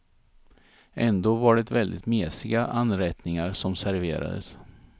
Ändå var det väldigt mesiga anrättningar som serverades.